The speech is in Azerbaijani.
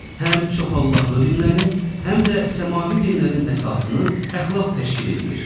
Həm çoxallahlı dinlərin, həm də səmavi dinlərin əsasını əxlaq təşkil eləyir.